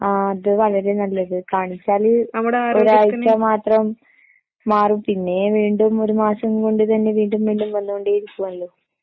ആ അത് വളരെ നല്ലത്, കാണിച്ചാല് ഒരാഴ്ച്ച മാത്രം മാറും പിന്നെയും വീണ്ടും ഒരു മാസം കൊണ്ട് തന്നെ വീണ്ടും വീണ്ടും വന്ന് കൊണ്ടേ ഇരിക്കുമല്ലോ